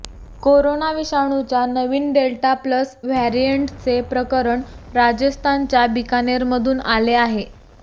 corona विषाणूच्या नवीन delta plus व्हेरिएंटचे प्रकरण राजस्थानच्या बीकानेरमधून आले आहे